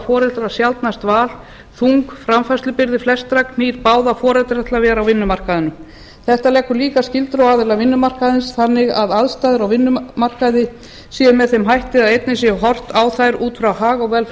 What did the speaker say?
foreldrar sjaldnast val þung framfærslubyrði flestra knýr báða foreldra til að vera á vinnumarkaðnum þetta leggur líka skyldur á aðila vinnumarkaðarins þannig að aðstæður á vinnumarkaði séu með þeim hætti að einnig sé horft á þær út frá hag og velferð